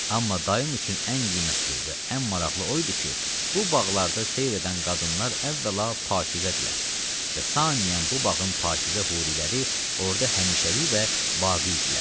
Amma daim üçün ən qiymətli və ən maraqlı o idi ki, bu bağlarda seyir edən qadınlar əvvəla pakizədirlər və saniyən bu bağın pakizə huriləri orada həmişəlik və baqi idilər.